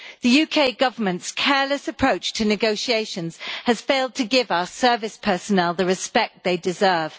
The UK Government's careless approach to negotiations has failed to give our service personnel the respect they deserve.